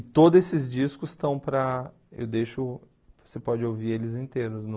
E todos esses discos estão para... eu deixo... você pode ouvir eles inteiros no...